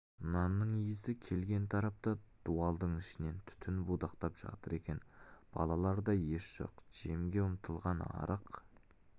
нанның иісі келген тарапта дуалдың ішінен түтін будақтап жатыр екен балаларда ес жоқ жемге ұмтылған арық